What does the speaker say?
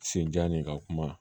Senjan de ka kuma